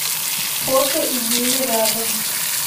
фото идея рядом